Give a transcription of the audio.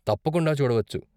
తప్పకుండా చూడవచ్చు.